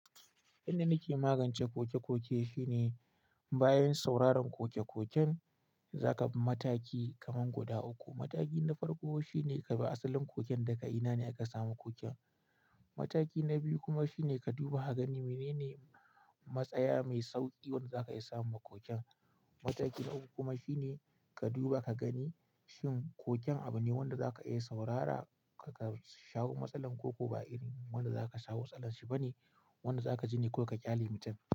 Inda nake magance koke-koke shine bayan sauraron koke-koken, za ka bi mataki kaman guda uku. Mataki na farko shine ka bi asalin koken da ka ina ne aka samu koken. Mataki na biyu kuma shine ka duba ka gani menene matsaya mai sauƙi wanda za ka iya samu ma koken. Mataki na uku kuma shine ka duba ka gani shin koken abu ne wanda za ka iya saurara ka shawo matsalar ko ko ba irin wanda za ka shawo matsalar shi bane. Wanda za ka ji ne ko ka ƙyale mutum.